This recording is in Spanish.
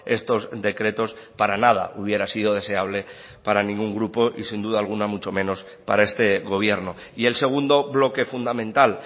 estos decretos para nada hubiera sido deseable para ningún grupo y sin duda alguna mucho menos para este gobierno y el segundo bloque fundamental